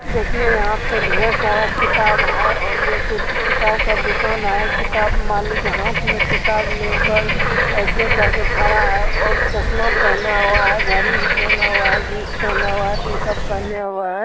देखिए यहां पर ढेर सारा किताब है और ये कोई किताब का दुकान है किताब मालिक हाथ में किताब लेकर ऐसे करके ठरा है और चश्मा भी पहने हुआ हैघड़ी भी पहने हुआ हैं और जींस भी पहना हुआ हैं टीशर्ट पहने हुए हैं।